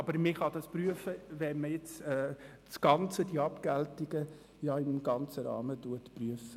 Aber man kann das prüfen, wenn man jetzt das Ganze, die Abgeltungen im ganzen Rahmen, prüft.